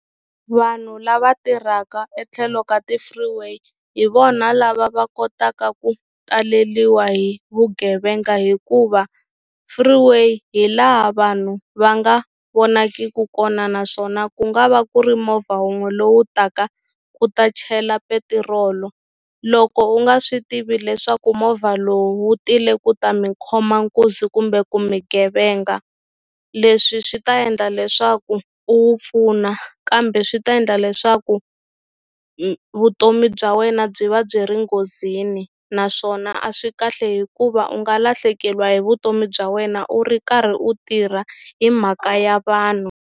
Vanhu lava tirhaka etlhelo ka ti-freeway hi vona lava va kotaka ku taleliwa hi vugevenga hikuva freeway hi laha vanhu va nga vonakiku kona naswona ku nga va ku ri movha wun'we lowu taka ku ta chela petirolo loko u nga swi tivi leswaku movha lowu wu tile ku ta mi khoma nkunzi kumbe ku mi ghevenga leswi swi ta endla leswaku u wu pfuna kambe swi ta endla leswaku vutomi bya wena byi va byi ri nghozini naswona a swi kahle hikuva u nga lahlekeliwa hi vutomi bya wena u ri karhi u tirha hi mhaka ya vanhu.